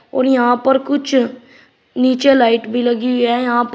और यहां पर कुछ नीचे लाइट भी लगी हुइ है यहां पर--